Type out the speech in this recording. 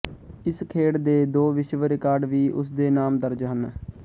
ਇਸ ਖੇਡ ਦੇ ਦੋ ਵਿਸ਼ਵ ਰਿਕਾਰਡ ਵੀ ਉਸ ਦੇ ਨਾਮ ਦਰਜ ਹਨ